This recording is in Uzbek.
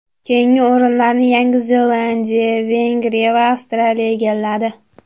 Keyingi o‘rinlarni Yangi Zelandiya, Vengriya va Avstraliya egalladi.